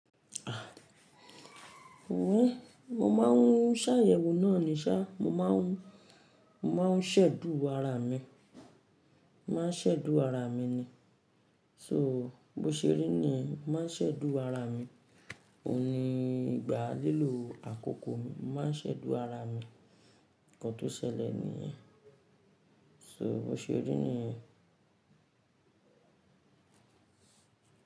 Ah! Oun, mo máa ń ṣàyẹ̀wò náà ní ṣá, mo máa ń, mo máa ń ṣẹ̀dú ara mi, mo máa ń ṣẹ̀dú ara mi ni. So, bó ṣe rí ni yẹn, mo máa ń ṣẹ̀dú ara mi. Óun ní ìgbà lílò àkókò mi, mo máa ń ṣẹ̀dú ara mi. Ǹkan tó ṣẹlẹ̀ nì yẹn. So bó ṣe rí ni.